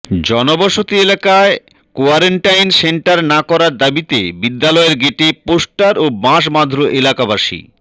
জনবসতি এলাকায় quarantine centre না করার দাবীতে বিদ্যালয়ের গেটে পোস্টার ও বাঁশ বাধল এলাকাবাসী